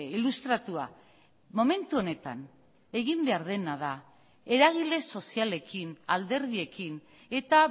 ilustratua momentu honetan egin behar dena da eragile sozialekin alderdiekin eta